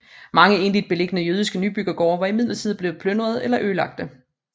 Mange enligt beliggende jødiske nybyggergårde var imidlertid blevet plyndrede eller ødelagte